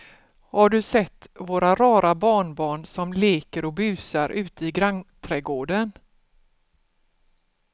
Har du sett våra rara barnbarn som leker och busar ute i grannträdgården!